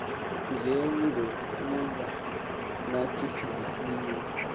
njengokuba nathi sizifuyile